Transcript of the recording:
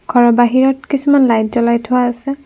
ঘৰৰ বাহিৰত কিছুমান লাইত জ্বলাই থোৱা আছে।